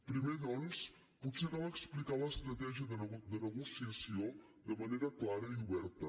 primer doncs potser cal explicar l’estratègia de negociació de manera clara i oberta